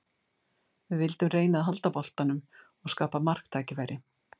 Við vildum reyna að halda boltanum og skapa marktækifæri.